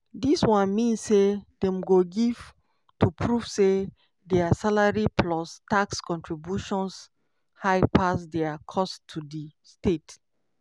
dis one mean say dem go gave to prove say dia salary plus tax contributions high pass dia costs to di state.